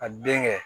Ka den kɛ